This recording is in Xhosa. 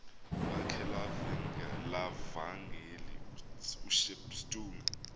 lakhe levangeli ushepstone